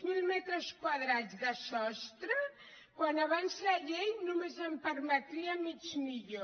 zero metres quadrats de sostre quan abans la llei només en permetria mig milió